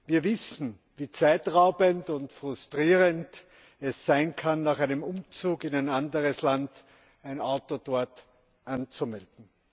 Wir wissen, wie zeitraubend und frustrierend es sein kann, nach einem Umzug in anderes Land ein Auto dort anzumelden.